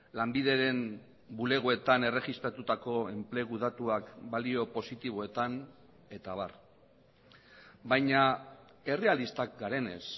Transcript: lanbideren bulegoetan erregistratutako enplegu datuak balio positiboetan eta abar baina errealistak garenez